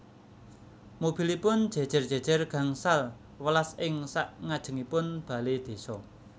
Mobilipun jejer jejer gangsal welas ing sak ngajengipun bale desa